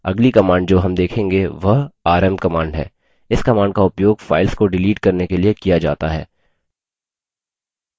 अगली command जो rm देखेंगे वह rm command है इस command का उपयोग files को डिलीट करने के लिए किया जाता है